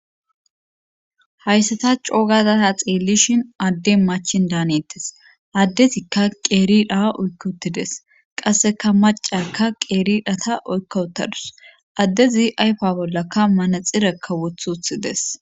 Hayssata coogazata xeellishin adde machin daanettes addezikka qeeri dhaha oykk uttides qasseka macakka qeeridhata oykkawutadus addezi ayfa bollaka manaxirekka wothuthides.